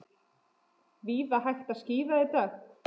Víða hægt að skíða í dag